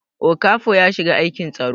Okafo ya shiga aikin tsaro